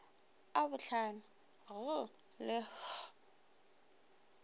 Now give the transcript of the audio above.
a bohlano g le h